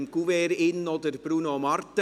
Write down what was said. Sie hatten im Kuvert auch Bruno Martin.